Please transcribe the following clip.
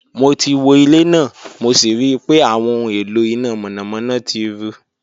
Mo ti wo ile naa mo si rii pe awọn ohun elo ina mọnamọna ti ru